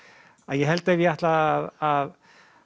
ég held ef ég ætlaði að